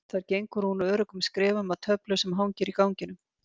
Þar gengur hún öruggum skrefum að töflu sem hangir í ganginum.